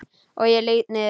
Og ég lýt niður.